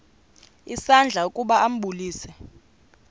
isandla ukuba ambulise